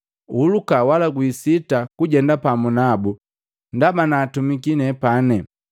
Uhuluka wala wisita kujenda pamu nabu ndaba naatumiki nepane.”